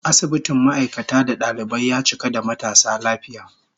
Asibitin ma'aikata da dalibai, ya cika da matasa lafiya